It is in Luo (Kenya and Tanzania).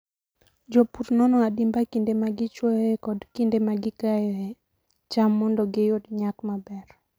Jopur nono adimba kinde ma gichwoyoe kod kinde ma gikayoe cham mondo giyud nyak maber.